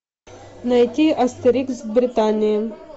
найти астерикс в британии